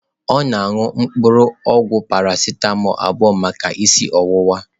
Ọ na-aṅụ mpuru ogwu Parasịtamọọlụ abụọ maka isi ọwụwa.